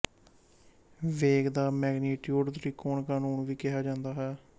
ਵੇਗ ਦਾ ਮੈਗਨੀਟੀਉਡ ਤਿਕੋਣ ਕਾਨੂੰਨ ਵੀ ਕਿਹਾ ਜਾਂਦਾ ਹੈ